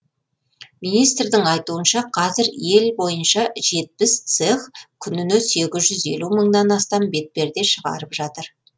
министрдің айтуынша қазір ел бойынша жетпіс цех күніне сегіз жүз елу мыңнан астам бетперде шығырап жатыр